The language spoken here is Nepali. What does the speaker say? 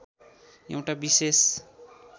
एउटा विशेष